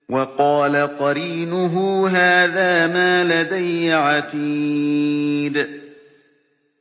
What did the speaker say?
وَقَالَ قَرِينُهُ هَٰذَا مَا لَدَيَّ عَتِيدٌ